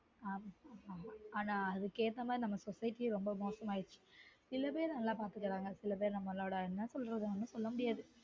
ஆஹ் ஆனாஅதுக்கு ஏத்த மாதிரி நம்ம society ரொம்ப மோசமாகிடுச்சு சில பேர் நல்லா பாத்துக்குறாங்க சில பேர் நம்மளோட என்ன சொல்றது ஒன்னும் சொல்ல முடியாது